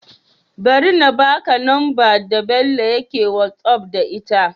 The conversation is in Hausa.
Bari na baka number da Bello yake whatsapp da ita